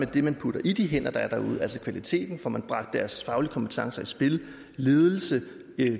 det man putter i de hænder der er derude altså kvaliteten om får man bragt deres faglige kompetencer i spil ledelse